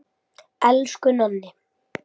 Elsku Nonni.